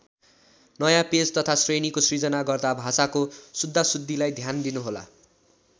नयाँ पेज तथा श्रेणीको सृजना गर्दा भाषाको सुद्धासुद्धीलाई ध्यान दिनुहोला।